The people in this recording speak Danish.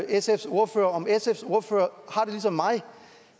sfs ordfører om sfs ordfører har det ligesom mig